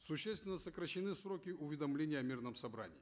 существенно сокращены сроки уведомления о мирном собрании